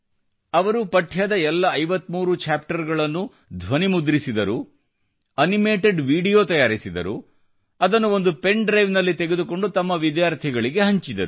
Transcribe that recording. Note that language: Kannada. ಅವರು ಪಠ್ಯದ ಎಲ್ಲ 53 ಚಾಪ್ಟರ್ ಗಳನ್ನು ಧ್ವನಿಮುದ್ರಿಸಿದರು ಅನಿಮೆಟೆಡ್ ವಿಡಿಯೋ ತಯಾರಿಸಿದರು ಮತ್ತು ಅದನ್ನು ಒಂದು ಪೆನ್ ಡ್ರೈವ್ ನಲ್ಲಿ ತೆಗೆದುಕೊಂಡು ತಮ್ಮ ವಿದ್ಯಾರ್ಥಿಗಳಿಗೆ ಹಂಚಿದರು